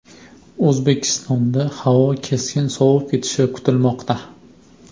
O‘zbekistonda havo keskin sovib ketishi kutilmoqda.